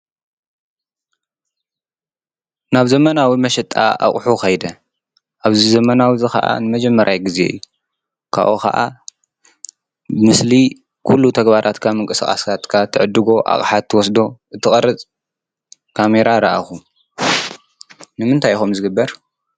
ናብ ዘመናዊ መሸጣ ኣቑሑ ከይደ ኣብዚ ዘመናዊ ኸዓ ንመጀመርያ ግዜ እዩ ካብኡ ኸዓ ምስሊ ኩሉ ተግባራትካ ምንቅስቃስካ ትዕድጎ ኣቕሓ ትወስዶ ትቐርፅ ካሜራ ረኣኹ ንምንታይ እዩ ከምኡ ዝግበር?